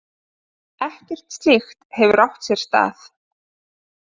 Ekkert slíkt hefur átt sér stað